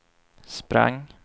sprang